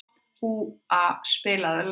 Úa, spilaðu lag.